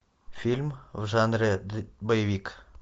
фильм в жанре боевик